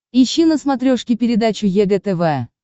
ищи на смотрешке передачу егэ тв